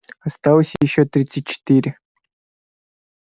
осталось ещё тридцать четыре